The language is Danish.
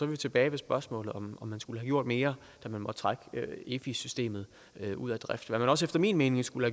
vi tilbage ved spørgsmålet om man skulle have gjort mere da man måtte trække efi systemet ud af drift hvad man også efter min mening skulle